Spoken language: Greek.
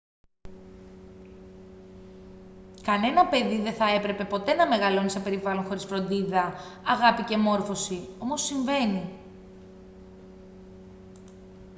κανένα παιδί δεν θα έπρεπε ποτέ να μεγαλώνει σε περιβάλλον χωρίς φροντίδα αγάπη και μόρφωση όμως συμβαίνει